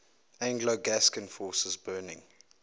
anglo gascon forces burning